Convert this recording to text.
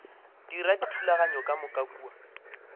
dira dithulaganyo ka moka kua